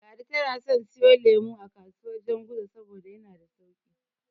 Ladi tana son siyo lemo a kasuwar Janguza saboda yana da sauƙi.